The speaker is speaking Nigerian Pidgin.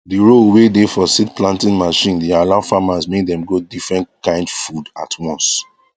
the row were dey for seed planting machine dey allow farmers make dem grow different kind food at once